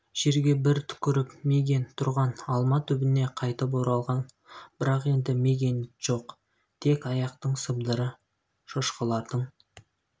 жерге бір түкіріп мигэн тұрған алма түбіне қайтып оралған бірақ енді мигэн жоқ тек аяқтың сыбдыры шошқалардың